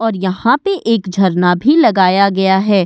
और यहां पे एक झरना भी लगाया गया है।